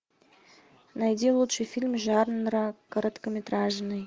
найди лучший фильм жанра короткометражный